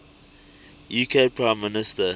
uk prime minister